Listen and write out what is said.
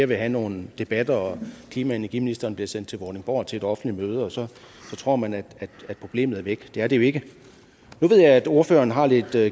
vil have nogle debatter hvor klima og energiministeren bliver sendt til vordingborg til et offentligt møde og så tror man at problemet er væk det er det jo ikke nu ved jeg at ordføreren har lidt